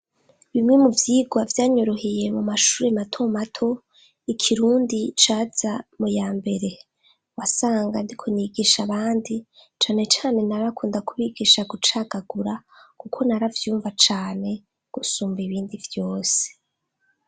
Bimwe mu vyigwa vyanyoroheye mu mashuri mato mato ikirundi caza mu ya mbere wasanga ndiko nigisha abandi cane cane narakunda kubigisha gucagagura kuko naravyumva cane gusumba ibindi vyose